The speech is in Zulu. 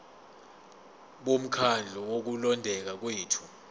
bomkhandlu wokulondeka kwethu